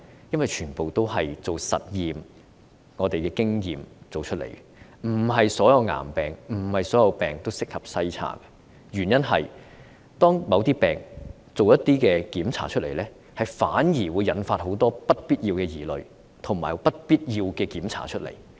因為全賴實驗和經驗得知，不是所有疾病都適合篩查，因為就某些疾病進行檢查時，反而會引發很多不必要的疑慮及檢查。